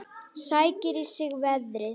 Sækir í sig veðrið.